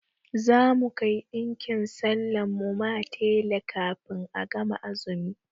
Za mu kai ɗinkin sallan mu ma tela kafin a gama azumi.